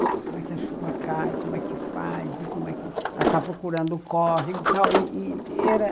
Como é que a chuva cai, como é que faz, ela está procurando o córrego e tal. E e era